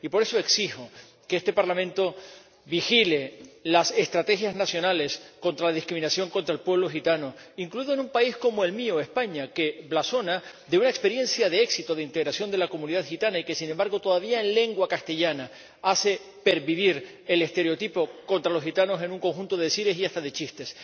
Y, por eso, exijo que este Parlamento vigile las estrategias nacionales contra la discriminación contra el pueblo gitano, incluido en un país como el mío, España, que blasona de una experiencia de éxito de integración de la comunidad gitana y que, sin embargo, todavía en lengua castellana hace pervivir el estereotipo contra los gitanos en un conjunto de decires y hasta de chistes.